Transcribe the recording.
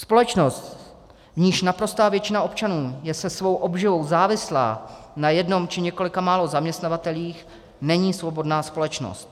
Společnost, v níž naprostá většina občanů je se svou obživou závislá na jednom či několika málo zaměstnavatelích, není svobodná společnost.